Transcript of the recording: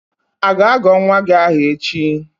A ga-agọ nwa gị aha echi?